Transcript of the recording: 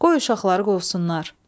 Qoy uşaqları qovsunlar.